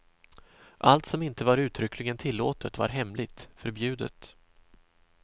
Allt som inte var uttryckligen tillåtet var hemligt, förbjudet.